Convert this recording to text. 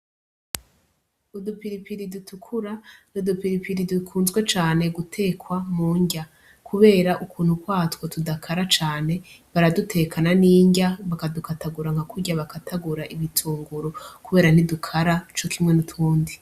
Udupiripiri dutukura, udupiripiri dukunzwe cane gutekwa mu nrya, kubera ukuntu kwatwo tudakara cane baradutekana n'inrya bakadukatagura nka kurya bakatagura ibitunguru kubera ntidukara co kimwe n'utundi.